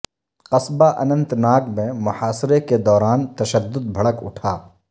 قصبہ اننت ناگ میں محاصرہ کے دوران تشدد بھڑک اٹھا